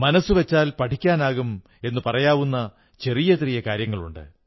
മനസ്സു വച്ചാൽ പഠിക്കാനാകും എന്നു പറയാവുന്ന ചെറിയ ചെറിയ കാര്യങ്ങളുണ്ട്